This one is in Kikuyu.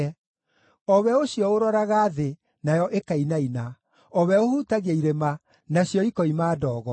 o we ũcio ũroraga thĩ, nayo ĩkainaina, o we ũhutagia irĩma, nacio ikoima ndogo.